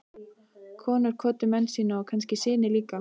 Konur kvöddu menn sína og kannski syni líka.